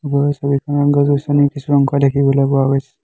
ওপৰৰ ছবিখনত গছ গছনি কিছু অংশ দেখিবলৈ পোৱা গৈছে।